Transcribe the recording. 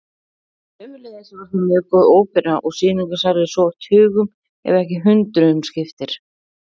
Sömuleiðis var þar mjög góð ópera og sýningarsalir svo tugum ef ekki hundruðum skipti.